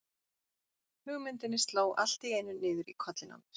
Hugmyndinni sló allt í einu niður í kollinn á mér.